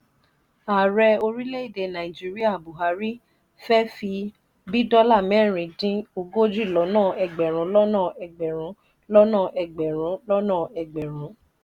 ààrẹ orile ede nàìjíríà buhari fe fi bí dola mẹrin din ogójì lọ́nà egberun lọ́nà egberun lọ́nà egberun lọ́nà egberun